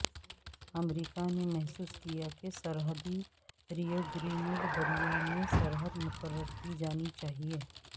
امریکہ نے محسوس کیا کہ سرحدی ریو گرینڈ دریا میں سرحد مقرر کی جانی چاہیئے